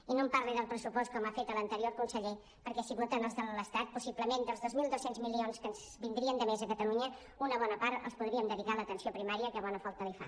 i no em parli del pressupost com ha fet l’anterior conseller perquè si voten els de l’estat possiblement dels dos mil dos cents milions que ens vindrien de més a catalunya una bona part els podríem dedicar a l’atenció primària que bona falta li fa